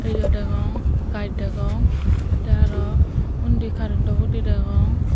miley degong gaz degong tey araw undi carentto hudi degong.